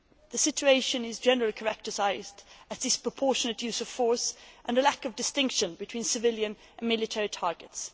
The situation is generally characterised as a disproportionate use of force and a lack of distinction between civilian and military targets.